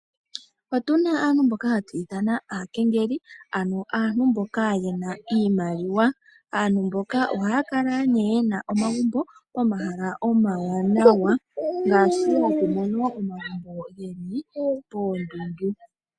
Otuna aantu mboka hatu ithana aakengeli, ano aantu mboka yena iimaliwa. Aantu mbok ohaya kala ne yena omagumbo ge li pomahala omawanawa, ngaashi hatu mono omagumbo ge li poondundu.